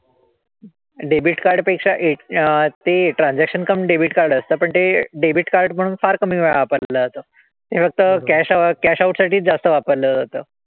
Debit card पेक्षा ते transaction cum debit card असतं. पण ते debit card म्हणून फार कमीवेळा वापरलं जातं. ते फक्त cash cash out साठीच जास्त वापरलं जातं.